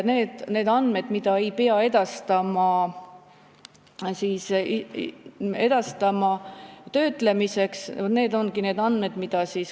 Need ongi need andmed, mida ei pea töötlemiseks edastama.